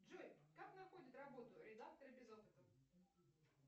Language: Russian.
джой как находят работу редакторы без опыта